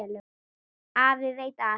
Afi veit allt.